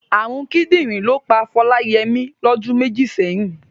Ààrùn kídìrín ló pa Fọláyẹmí lọdún méjì sẹ́yìn.